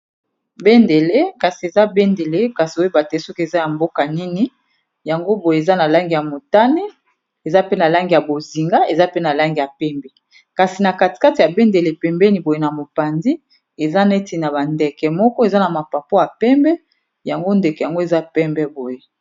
bendele kasi eza bendele kasi oyeba te soki eza ya mboka nini yango boye eza na langi ya motane eza pe na langi ya bozinga eza pe na langi ya pembe kasi na katikate ya bendele pembeni boye na mopandi eza neti na bandeke moko eza na mapapo ya pembe yango ndeke yango eza pembe boye